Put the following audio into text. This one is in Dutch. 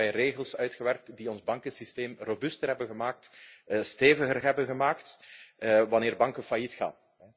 Hebben wij regels uitgewerkt die ons bankensysteem robuuster hebben gemaakt, steviger hebben gemaakt wanneer banken failliet gaan?